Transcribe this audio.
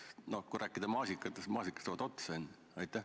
Ja kui rääkida maasikatest, siis maasikad saavad enne otsa.